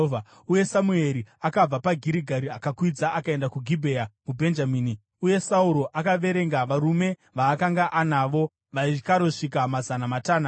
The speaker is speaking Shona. Uye Samueri akabva paGirigari akakwidza akaenda kuGibhea muBhenjamini, uye Sauro akaverenga varume vaakanga anavo. Vaikarosvika mazana matanhatu.